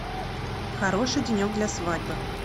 хороший денек для свадьбы